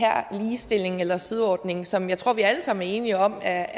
ligestilling eller sideordning som jeg tror vi alle sammen er enige om er